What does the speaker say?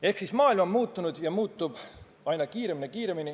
Ehk siis maailm on muutunud ja muutub aina kiiremini.